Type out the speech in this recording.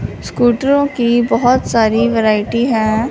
स्कूटरो की बहुत सारी वैरायटी हैं।